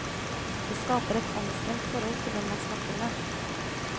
Det skaper et anstrengt forhold til dem man snakker med.